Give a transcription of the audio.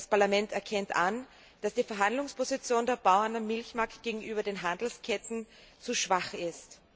Das Parlament erkennt an, dass die Verhandlungsposition der Bauern im Milchmarkt gegenüber den Handelsketten zu schwach ist.